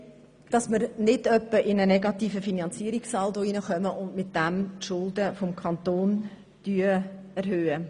Es geht darum, dass wir nicht in einen negativen Finanzierungssaldo hineingeraten und die Schulden des Kantons erhöhen.